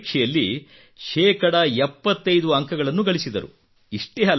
ಅವರು ಪರೀಕ್ಷೆಯಲ್ಲಿ ಶೇಕಡಾ 75 ಅಂಕಗಳನ್ನು ಗಳಿಸಿದರು